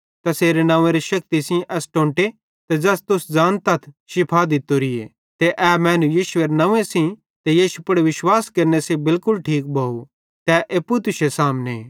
तैसेरे नव्वेंरी शक्ति एस टोंटे ज़ै तुश्शे सामने ते ज़ैस तुस ज़ानतथ शिफा दित्तोरिये ते ए मैनू यीशुएरे नंव्वे सेइं ते यीशु पुड़ विश्वास केरने सेइं बिलकुल ठीक भोव ते ए एप्पू तुश्शे सामने